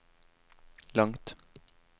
langt